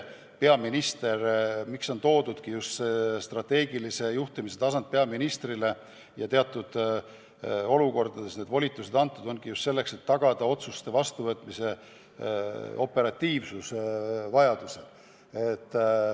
Eks see strateegilise juhtimise õigus ja muud volitused on teatud olukordades antud peaministrile just selleks, et tagada vajadusel otsuste vastuvõtmise operatiivsus.